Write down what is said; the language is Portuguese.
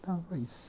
Então, foi isso.